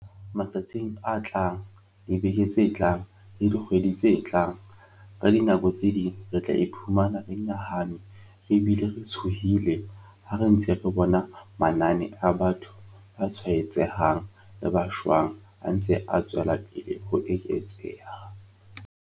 Matsatsing a tlang, dibekeng tse tlang le dikgweding tse tlang, ka dinako tse ding re tla iphumana re nyahame re bile re tshohile ha re ntse re bona manane a batho ba tshwaetsehang le ba shwang a ntse a tswelapele ho eketseha.